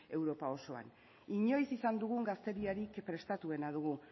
europa osoan inoiz izan dugun gazteriarik prestatuena dugu